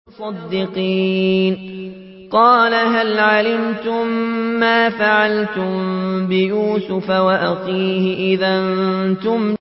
قَالَ هَلْ عَلِمْتُم مَّا فَعَلْتُم بِيُوسُفَ وَأَخِيهِ إِذْ أَنتُمْ جَاهِلُونَ